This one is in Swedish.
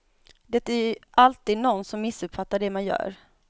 Det är ju alltid nån som missuppfattar det man gör.